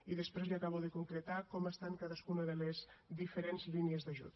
i després li acabo de concretar com estan cadascuna de les diferents línies d’ajut